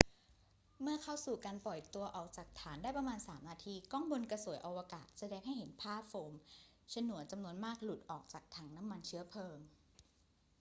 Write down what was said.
เมื่อเข้าสู่การปล่อยตัวออกจากฐานได้ประมาณ 3 นาที กล้องบนกระสวยอวกาศแสดงให้เห็นภาพโฟมฉนวนจำนวนมากหลุดออกจากถังน้ำมันเชื้อเพลิง